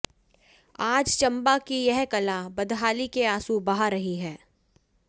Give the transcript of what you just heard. आज चंबा की यह कला बदहाली के आंसू बहा रही है